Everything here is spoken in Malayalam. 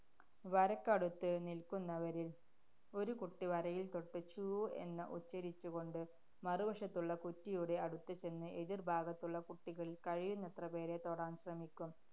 വരയ്ക്കടുത്ത് നില്ക്കുന്നവരില്‍ ഒരു കുട്ടി, വരയില്‍ തൊട്ട് ചൂ എന്ന് ഉച്ചരിച്ചുകൊണ്ട് മറുവശത്തുള്ള കുറ്റിയുടെ അടുത്ത് ചെന്ന് എതിര്‍ഭാഗത്തുള്ള കുട്ടികളില്‍ കഴിയുന്നത്ര പേരെ തൊടാന്‍ ശ്രമിക്കും.